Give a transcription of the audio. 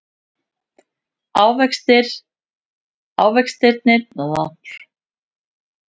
Ávextirnir bakka rólega út af sviðinu einn af öðrum.